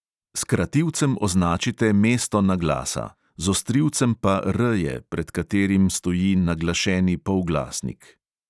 S krativcem označite mesto naglasa, z ostrivcem pa R-je, pred katerimi stoji naglašeni polglasnik.